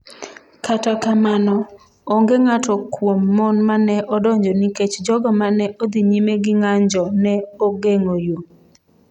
Kata kamano, onge ng’ato kuom mon ma ne odonjo nikech jogo ma ne odhi nyime gi ng’anjo ne ogeng’o yo.